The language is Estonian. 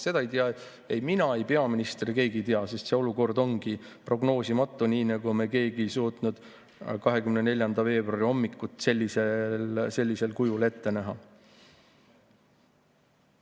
Seda ei tea ei mina ega peaminister – keegi ei tea, sest see olukord ongi prognoosimatu, nii nagu me keegi ei suutnud 24. veebruari hommikut sellisel kujul ette näha.